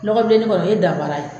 LɔKɔbilennenni , o ye dafara ye